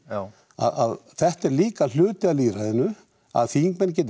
að þetta er líka hluti af lýðræðinu að þingmenn geti